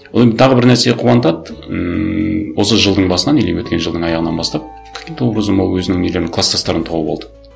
одан кейін тағы бір нәрсе қуантады ммм осы жылдың басынан или өткен жылдың аяғынан бастап каким то образом ол өзінің нелерін кластастарын тауып алды